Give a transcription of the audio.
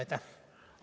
Aitäh!